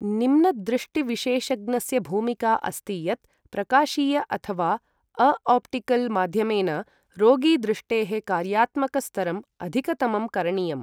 निम्नदृष्टिविशेषज्ञस्य भूमिका अस्ति यत् प्रकाशीय अथवा अ आप्टिकल माध्यमेन रोगी दृष्टेः कार्यात्मक स्तरं अधिकतमं करणीयम् ।